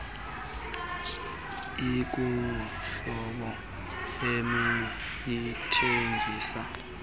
ikuhlobo ebeyithengise ikulo